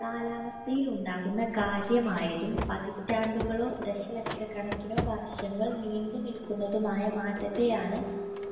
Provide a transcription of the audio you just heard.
കാലാവസ്ഥയിലുണ്ടാകുന്ന കാര്യമായതും പതിറ്റാണ്ടുകളോ ദശലക്ഷക്കണക്കിനോ വർഷങ്ങൾ നീണ്ടു നിൽക്കുന്നതുമായ മാറ്റത്തെയാണ്